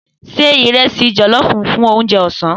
Se ìrẹsì jọ̀lọ́ọfù fún oúnjẹ ọ̀sán.